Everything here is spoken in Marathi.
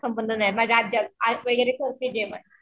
संबंध नाही माझे